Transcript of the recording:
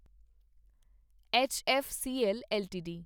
HFCL LTD